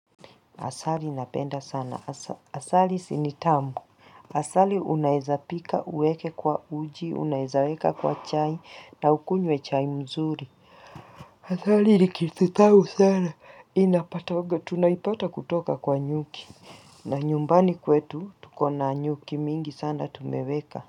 Asali napenda sana. Asali sinitamu. Asali unaiza pika uweke kwa uji, unaizaweka kwa chai na ukunywe chai mzuri. Asali likithithau sana. Inapatoga. Tunaipata kutoka kwa nyuki. Na nyumbani kwetu tukona nyuki mingi sana tumeweka.